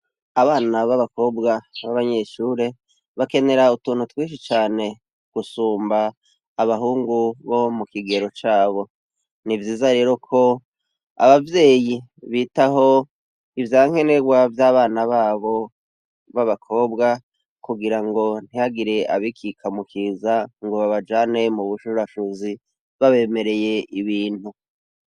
Abana b'abakobwa b'abanyeshure bakenera utuntu twinshi cane gusumba abahungu bo mu kigero cabo. Ni vyiza rero ko abavyeyi bitaho ivyankenerwa vy'abana babo b'abakobwa kugira ngo ntihagire abikika mu kiza ngo babajane mu bushurashuzi babemereye ibintu.